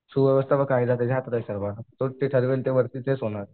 सुव्यवस्था कायदा त्याच्याच हातात आहे सर्व तोच जे ठरवेल तेच होणार.